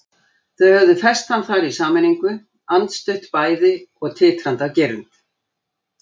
Þau höfðu fest hann þar í sameiningu, andstutt bæði og titrandi af girnd.